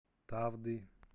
тавды